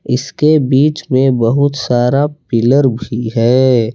इसके बीच में बहुत सारा पिलर भी है।